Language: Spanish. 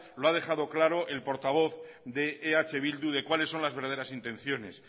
lo ha dejado claro el portavoz de eh bildu de cuáles son las verdaderas intenciones